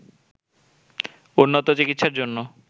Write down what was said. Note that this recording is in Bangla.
উন্নত চিকিৎসার জন্য